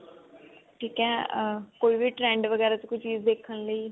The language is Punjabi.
ਠੀਕ ਹੈ ਅਹ ਕੋਈ ਵੀ trend ਵਗੇਰਾ ਚ ਕੋਈ ਵੀ ਚੀਜ਼ ਦੇਖਣ ਲਈ